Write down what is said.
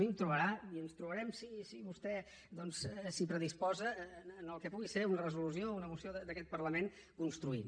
a mi em trobarà i ens trobarem si vostè s’hi predisposa en el que pugui ser una resolució una moció d’aquest parlament construint